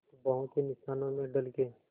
बाहों के निशानों में ढल के